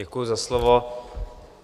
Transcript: Děkuji za slovo.